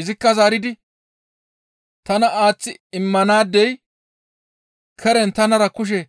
Izikka zaaridi, «Tana aaththi immanaadey keren tanara kushe